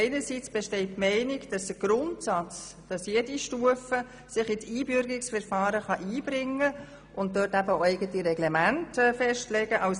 Einerseits besteht die Meinung, dass sich im Grundsatz jede Stufe ins Einbürgerungsverfahren einbringen und eigene Reglemente festlegen kann.